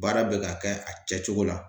Baara bɛ ka kɛ a kɛcogo la.